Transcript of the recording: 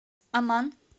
амман